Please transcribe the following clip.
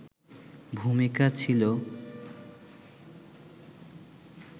ভূমিকা ছিল